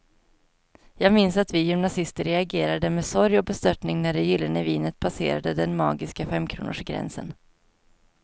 Jag minns att vi gymnasister reagerade med sorg och bestörtning när det gyllene vinet passerade den magiska femkronorsgränsen.